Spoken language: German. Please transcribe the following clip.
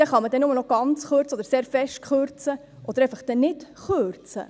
Dann kann man nur noch ganz kürzen oder sehr stark kürzen oder dann einfach nicht kürzen.